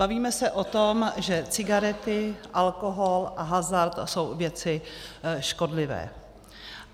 Bavíme se o tom, že cigarety, alkohol a hazard jsou věci škodlivé.